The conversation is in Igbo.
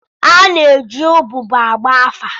A na-eji ụgbụgbọ agba afa.